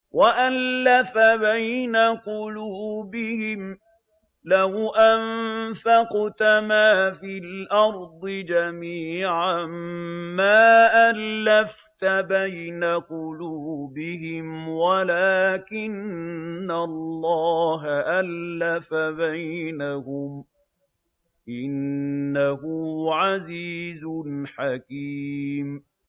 وَأَلَّفَ بَيْنَ قُلُوبِهِمْ ۚ لَوْ أَنفَقْتَ مَا فِي الْأَرْضِ جَمِيعًا مَّا أَلَّفْتَ بَيْنَ قُلُوبِهِمْ وَلَٰكِنَّ اللَّهَ أَلَّفَ بَيْنَهُمْ ۚ إِنَّهُ عَزِيزٌ حَكِيمٌ